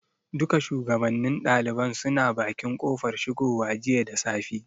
Duka shugabannin ɗaliban suna bakin kofar shigowa jiya da safe.